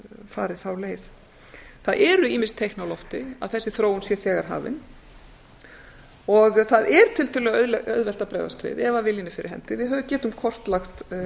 farið þá leið það eru ýmis teikn á lofti að þessi þróun sé þegar hafin og það er tiltölulega auðvelt að bregðast við ef viljinn er fyrir hendi við getum kortlagt